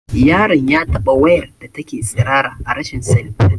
Yaron ya taɓa wayar da take tsirara a rashin sani